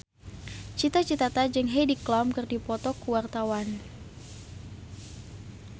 Cita Citata jeung Heidi Klum keur dipoto ku wartawan